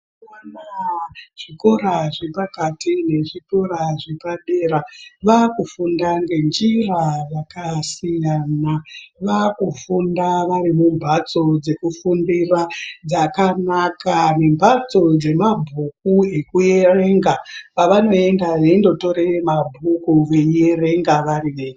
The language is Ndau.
Mazuwa anaa zvikora zvepakati nezvikora zvepadera vaakufunda ngenjira yakasiyana. Vaakufunda vari mumbhatso dzekufundira dzakanaka, nembhatso dzemabhuku ekuerenga avanoenda veindotore mabhuku veierenga vari vega.